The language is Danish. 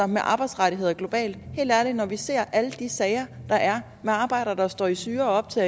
med arbejdsrettigheder globalt helt ærligt når vi ser alle de sager der er med arbejdere der står i syre op til